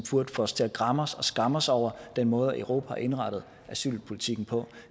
få os til at græmme os og skamme os over den måde europa har indrettet asylpolitikken på